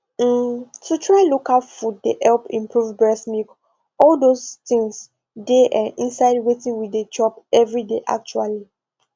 um to try local food dey help improve breast milk all those things dey um inside wetin we dey chop every day actually